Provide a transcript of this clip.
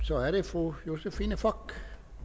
så er det fru josephine fock